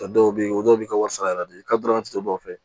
Dɔw bɛ yen o dɔw bɛ kɛ wari sara de ye ka dama tɛmɛ dɔw fɛ